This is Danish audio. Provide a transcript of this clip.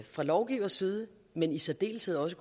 fra lovgivers side men i særdeleshed også